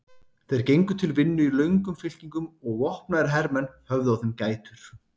Þeir gengu til vinnu í löngum fylkingum og vopnaðir hermenn höfðu á þeim gætur.